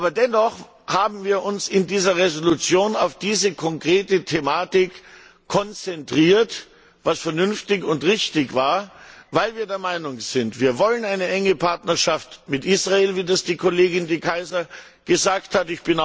Aber dennoch haben wir uns in dieser Entschließung auf diese konkrete Thematik konzentriert, was vernünftig und richtig war, weil wir der Meinung sind, dass wir eine enge Partnerschaft mit Israel wollen wie das Kollegin De Keyser gesagt hat.